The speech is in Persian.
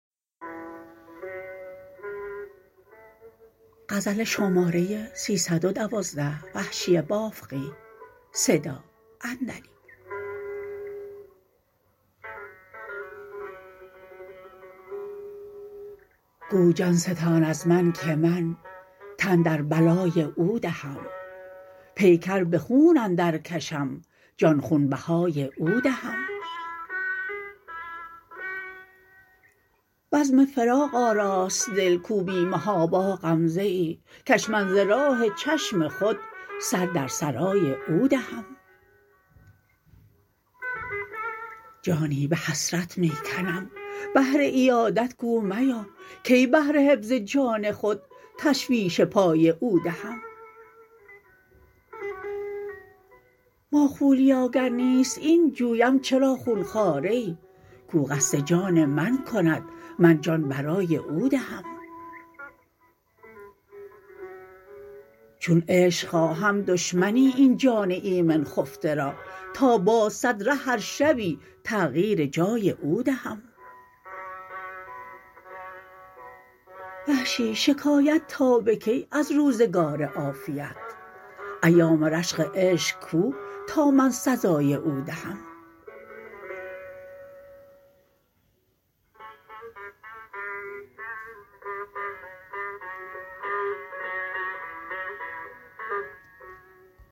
گو جان ستان از من که من تن در بلای او دهم پیکر به خون اندر کشم جان خونبهای او دهم بزم فراغ آراست دل کو بی محابا غمزه ای کش من ز راه چشم خود سر در سرای او دهم جانی به حسرت می کنم بهر عیادت گو میا کی بهر حفظ جان خود تشویش پای او دهم ماخولیا گر نیست این جویم چرا خونخواره ای کو قصد جان من کند من جان برای او دهم چون عشق خواهم دشمنی این جان ایمن خفته را تا باز سد ره هر شبی تغییر جای او دهم وحشی شکایت تا به کی از روزگار عافیت ایام رشک عشق کو تا من سزای او دهم